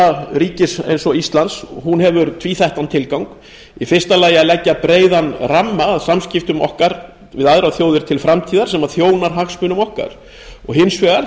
utanríkisstefna ríkis eins og íslands hefur tvíþættan tilgang í fyrsta lagi að leggja breiðan ramma að samskiptum okkar við aðrar þjóðir til framtíðar sem þjónar hagsmunum okkar í öðru